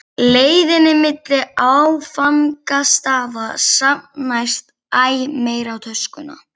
leiðinni milli áfangastaða safnast æ meira í töskuna.